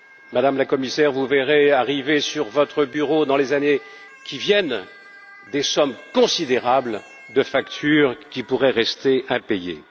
Madame la Commissaire, vous verrez arriver sur votre bureau, dans les années qui viennent, des sommes considérables concernant des factures qui pourraient rester impayées.